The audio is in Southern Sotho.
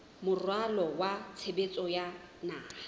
moralo wa tshebetso wa naha